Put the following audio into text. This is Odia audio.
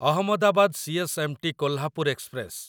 Ahmedabad CSMT Kolhapur express